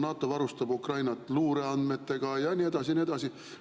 NATO varustab Ukrainat luureandmetega ja nii edasi ja nii edasi.